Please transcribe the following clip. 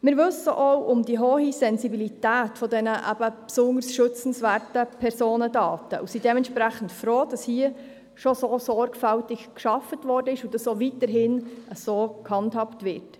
Wir wissen auch um die hohe Sensibilität dieser besonders schützenswerten Personendaten und sind dementsprechend froh, dass hier schon so sorgfältig gearbeitet wurde und dass dies auch weiterhin so gehandhabt wird.